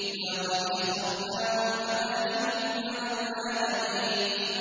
وَلَقَدِ اخْتَرْنَاهُمْ عَلَىٰ عِلْمٍ عَلَى الْعَالَمِينَ